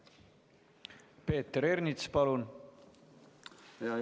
Peeter Ernits, palun!